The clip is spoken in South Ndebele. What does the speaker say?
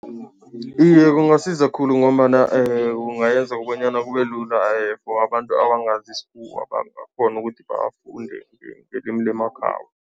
Iye, kungasiza khulu ngombana kungayenza bonyana kube lula for abantu abangazi isikhuwa, bangakghona ukuthi bafunde ngelimi lemakhabo.